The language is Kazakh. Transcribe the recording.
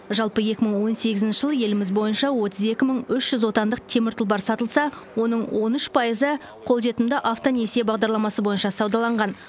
жалпы екі мың он сегізінші жылы еліміз бойынша отыз екі мың үш жүз отандық темір тұлпар сатылса оның он үш пайызы қолжетімді автонесие бағдарламасы бойынша саудаланған